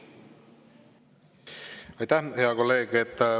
Aitäh, hea kolleeg!